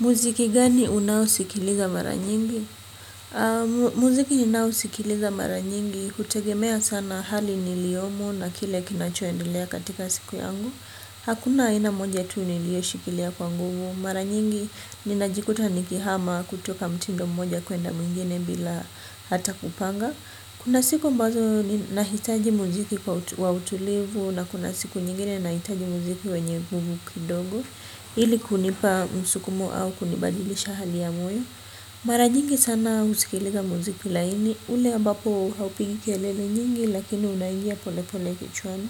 Mziki gani unaosikiliza mara nyingi. Muziki ninaosikiliza mara nyingi kutegemea sana hali niliomo na kile kinachoendelea katika siku yangu. Hakuna aina moja tuu nilioshikilia kwa nguvu. Mara nyingi ninajikuta nikihama kutoka mtindo mmoja kuenda mingine bila hata kupanga. Kuna siku ambazo ninahitaji muziki wa utulivu na kuna siku nyingine nahitaji muziki wenye nguvu kidogo. Ili kunipa msukumo au kunibadilisha hali ya moyo mara nyingi sana usikiliza mziki laini ule ambapo haupigi kelele nyingi lakini unaingia pole pole kichwani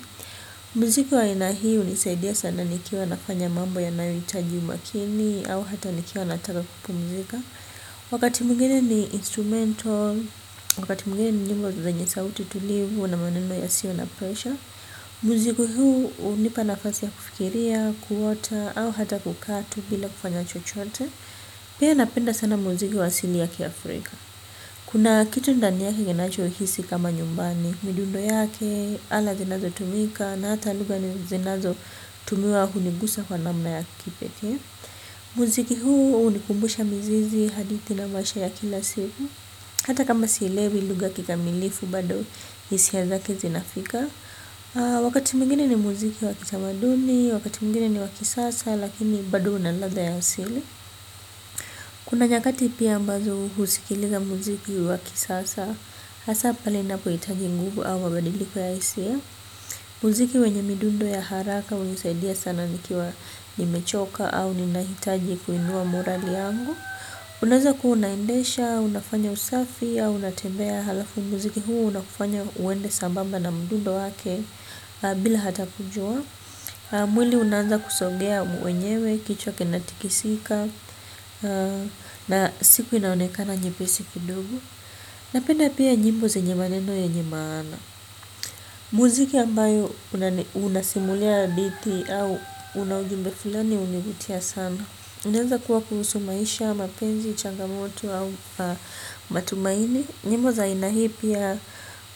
mziki wa aina unisaidia sana nikiwa nafanya mambo yanayoitaji umakini au hata nikiwa nataka kupumzika wakati mwingine ni instrumental wakati mwingine ni nyimbo zenye sauti tulivu na maneno yasiyo na pressure mziki huu hunipa nafasi ya kufikiria kuota au hata kukaa tu bila kufanya chochoote pia napenda sana muziki wa asili ya kiafrika kuna kitu ndani yake kinachohisi kama nyumbani midundo yake, ala zinazo tumika na hata lugha zinazotumiwa hunigusa kwa namna ya kipete muziki huu unikumbusha mzizi hadithi na maisha ya kila siku hata kama silewi lugha kikamilifu bado hisia zake zinafika wakati mwingine ni muziki wakitamaduni wakati mgini ni wakisasa lakini badu unaladha ya sili. Kuna nyakati pia ambazo usikiliza muziki wa kisasa. Hasa pale napohitaji nguvu au mabadiliko ya hisia. Muziki wenye midundo ya haraka unisaidia sana nikiwa nimechoka au ninahitaji kuinua morali yangu. Unaza kuunaendesha, unafanya usafia, unatembea halafu muziki huu unakufanya uende sambamba na mdundo wake bila hata kujua. Mwili unanza kusogea mwenyewe, kichwa kinatikisika, na siku inaonekana nyepesi kidogo. Napenda pia nyimbo zenye maneno yenye maana. Muziki ambayo unasimulia hadithi au una ujumbe filani univutia sana. Unanza kuwa kuhusu maisha, mapenzi, changamoto au matumaini. Nyimbo za aina hii pia,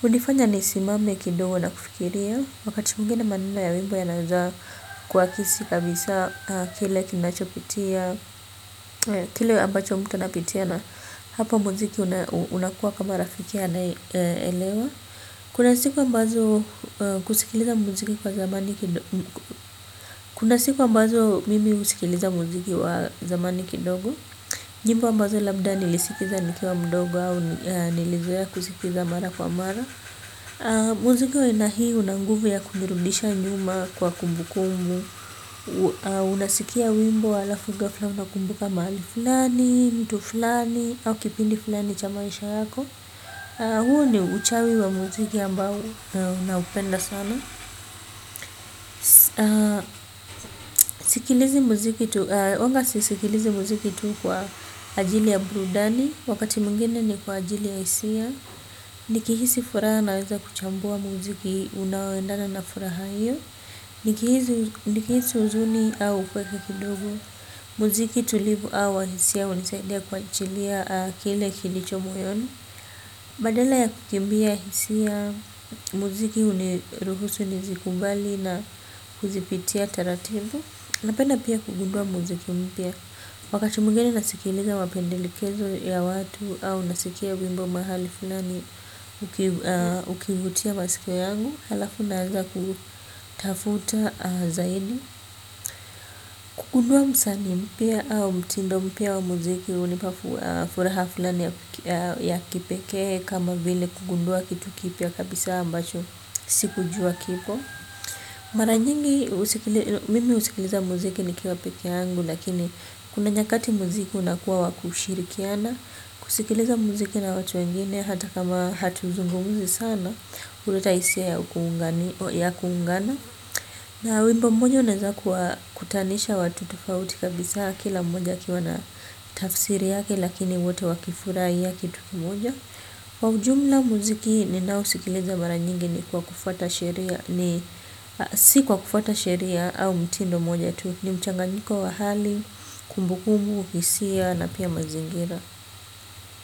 unifanya nisimame kidogo na kufikiria. Wakati mwingine maneno ya wimbo yanaezaa kuwa kisi kabisa kile kinachopitia, kile ambacho mtu napitia na hapa muziki unakuwa kama rafiki anaelewa. Kuna siku ambazo kusikiliza muziki kwa zamani kidogo, kuna siku ambazo mimi husikiliza muziki wa zamani kidogo. Nyimbo ambazo labda nilisikiza nikiwa mdogo au nilizoea kusikiza mara kwa mara. Muziki wa aina hii una nguvu kumirudisha njuma kwa kumbu kumbu. Unasikia wimbo wala fuga fula unakumbuka mali fulani, mtu fulani au kipindi fulani cha maisha yako huu ni uchawiwa mziki ambao naupenda sanaa Wanga sisikilizi muziki tu kwa ajili ya brudani. Wakati mwingine ni kwa ajili ya hisia. Nikihisi furaha naweza kuchambua muziki unaweenda na furaha hiyo. Nikihisi huzuni au kuweka kidogo muziki tulivu au ahisia unisaidia kuachilia kile kilicho moyon. Badala ya kukimbia hisia muziki uniruhusu nizikubali na kuzipitia taratibu. Napenda pia kugundua muziki mpya. Wakati mwingine nasikiliza wapendelikezo ya watu au nasikia bimbo mahali finani ukivutia masiko yangu halafu naaza kutafuta zaidi kugundua msanii mpya au mtindo mpya wa muziki unipa furaha fulani ya kipeke kama vile kugundua kitu kipya kabisa ambacho sikujua kipo maranyingi mimi usikiliza muziki nikiwa peke angu lakini kuna nyakati muziki unakuwa wakushirikiana kusikiliza muziki na watu wengine hata kama hatuzungumuzi sana uleta hisia ya kuungana ya kuungana. Na wimbo mmojo uneza kuwakutanisha watu tufauti kabisa kila mmoja akiwa na tafsiri yake lakini wote wakifurahi yaki tukimoja. Kwa ujumla mziki ninaouskiza mara nyingi ni si kwa kufuata sheria ni mchanganyiko wa hali kumbukumbu hisia na oia mazimgira.